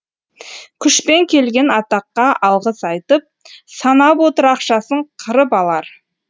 күшпен келген атаққа алғыс айтып санап отыр ақшасын қырып алар